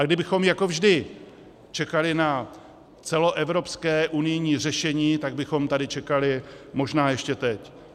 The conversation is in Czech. A kdybychom jako vždy čekali na celoevropské unijní řešení, tak bychom tady čekali možná ještě teď.